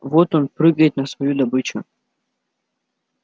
вот он прыгает на свою добычу